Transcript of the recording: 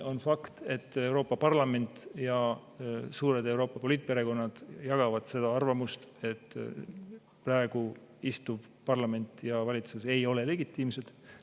On fakt, et Euroopa Parlament ja suured Euroopa poliitperekonnad jagavad seda arvamust, et praegune parlament ja valitsus ei ole legitiimsed.